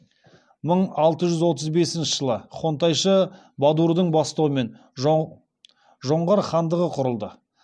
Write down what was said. мың алты жүз отыз бесінші жылы хонтайшы бадурдың бастауымен жоңғар хандығы құрылды